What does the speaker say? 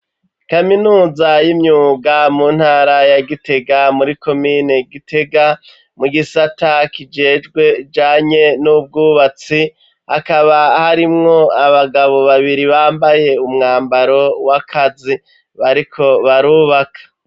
Kaminuza y'imyuga mu ntara ya Gitega muri komine Gitega mu gisata kijejwe ibijanye n'ubwubatsi ,akaba harimwo abagabo babiri bambaye umwambaro w'akazi bariko barubaka.